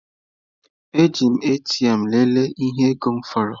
Eji m ATM lelee ihe ego m fọrọ.